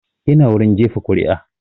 Ina wurin jefa kuri'a